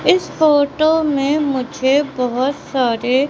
इस फोटो में मुझे बहुत सारे--